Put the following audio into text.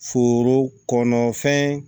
Foro kɔnɔfɛn